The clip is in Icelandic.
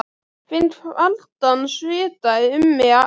Finn kaldan svita um mig alla.